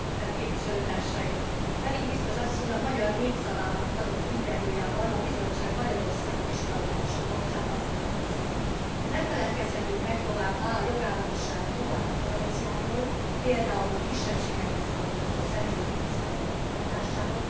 Tisztelt Képviselőtársaim! Reding biztos asszony a magyar Népszavának adott interjújában a Bizottság Magyarországgal kapcsolatos vizsgálódása kapcsán azt nyilatkozta Nem feledkezhetünk meg továbbá a jogállamiság további garanciáiról, pl. a kisebbségekhez tartozó személyek tiszteletben tartásáról.